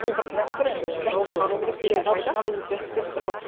ол бірақ дәстүр енді дәстүр ғой